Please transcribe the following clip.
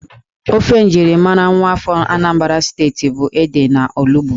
Ófé njirimara nwaafọ Anambra Steeti bụ ede na olugbu